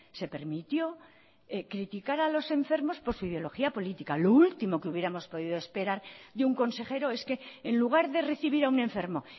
se permitió criticar a los enfermos por su ideología política lo último que hubiéramos podido esperar de un consejero es que en lugar de recibir a un enfermo